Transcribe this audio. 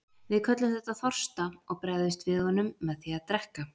Við köllum þetta þorsta og bregðumst við honum með því að drekka.